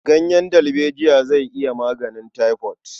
Ganyen dalbejiya zai iya maganin taifod.